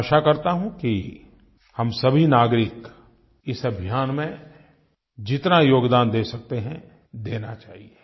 मैं आशा करता हूँ कि हम सभी नागरिक इस अभियान में जितना योगदान दे सकते हैं देना चाहिए